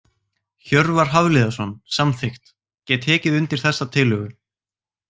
Hjörvar Hafliðason- Samþykkt Get tekið undir þessa tillögu.